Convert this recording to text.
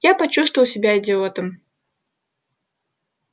я почувствовал себя идиотом